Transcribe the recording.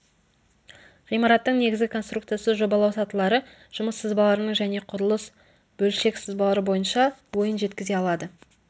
ғимараттың негізгі конструкциясы жобалау сатылары жұмыс сызбаларының және құрылыс бөлшек сызбалары бойынша ойын жеткізе алады